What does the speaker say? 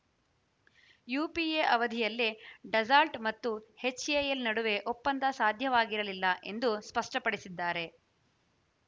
you P A ಅವಧಿಯಲ್ಲೆ ಡೆಜಲ್ಟ್ ಮತ್ತು ಹೆಚ್ ಎ ಎಲ್ ಒಪ್ಪಂದ ಸಾಧ್ಯವಾಗಿರಲಿಲ್ಲ ಎಂದು ಸ್ಪಷ್ಟಪಡಿಸಿದ್ದಾರೆ